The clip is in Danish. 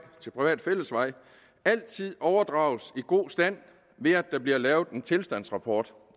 til privat fællesvej altid overdrages i god stand ved at der bliver lavet en tilstandsrapport